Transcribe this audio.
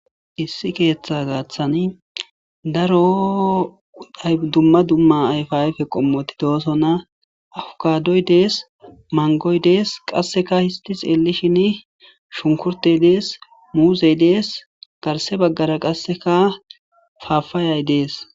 Issi keeththa gaaththani daro aydumma dumma ayfayfe qommoti doosonna afukadoy dees mangoy dees qasseka histi xeelishin shunkurtey dees muuzey dees garse baggara qasseka faafaayay dees.